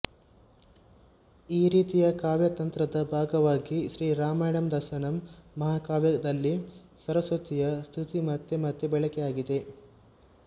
ಈ ರೀತಿಯ ಕಾವ್ಯತಂತ್ರದ ಭಾಗವಾಗಿ ಶ್ರೀರಾಮಾಯಣದರ್ಶನಂ ಮಹಾಕಾವ್ಯದಲ್ಲಿ ಸರಸ್ವತಿಯ ಸ್ತುತಿ ಮತ್ತೆ ಮತ್ತೆ ಬಳಕೆಯಾಗಿದೆ